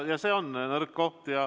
Ja see on nõrk koht.